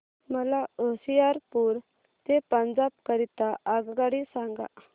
मला होशियारपुर ते पंजाब करीता आगगाडी सांगा